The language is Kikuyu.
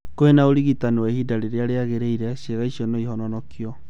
Kwĩna ũrigitani wa ihinda rĩrĩa rĩagĩrĩrĩire, ciĩga ici no ihononokio